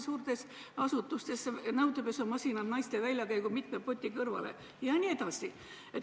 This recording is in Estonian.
Suurtes asutustes pannakse nõudepesumasinad naiste väljakäigu pottide kõrvale jne.